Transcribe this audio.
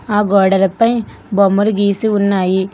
ఆ గోడలపై బొమ్మలు గీసి ఉన్నాయి.